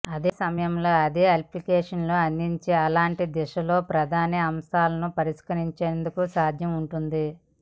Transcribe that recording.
అదే సమయంలో అది అప్లికేషన్లు అందించే అలాంటి దిశలో ప్రధాన అవకాశాలు పరిష్కరించేందుకు సాధ్యం ఉంటుంది